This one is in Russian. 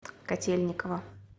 котельниково